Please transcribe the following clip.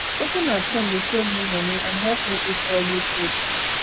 cooking at home dey save me money and help me eat healthy food